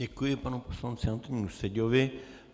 Děkuji panu poslanci Antonínu Seďovi.